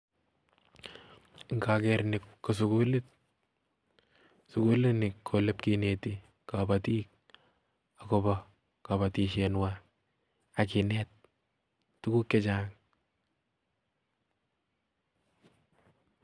Indokeer ni kosugulit, sugulini olekineteén kobotik agobo kobotisyenywan tuguk che chang